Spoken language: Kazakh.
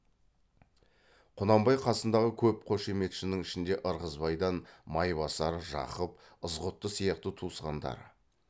құнанбай қасындағы көп қошеметшінің ішінде ырғызбайдан майбасар жақып ызғұтты сияқты туысқандары